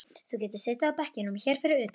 Þú getur setið á bekkjunum hérna fyrir utan.